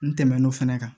N tɛmɛn'o fɛnɛ kan